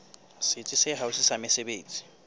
setsi se haufi sa mesebetsi